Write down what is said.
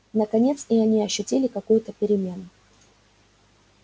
наконец и они ощутили какую-то перемену